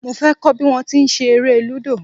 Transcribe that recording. Mo fẹ́ kọ́ bí wón ti ń ṣe eré Lúdò.